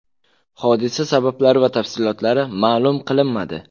Hodisa sabablari va tafsilotlari ma’lum qilinmadi.